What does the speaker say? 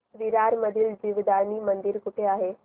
विरार मधील जीवदानी मंदिर कुठे आहे